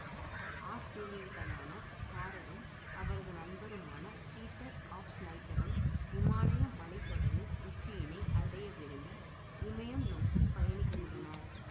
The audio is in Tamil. ஆஸ்திரியர்களான ஹாரெரும் அவரது நண்பருமான பீட்டர் ஆவ்ப்சினைட்டரும் இமாயலய மலைத்தொடரின் உச்சியினை அடையவிரும்பி இமயம் நோக்கி பயணிக்கின்றனர்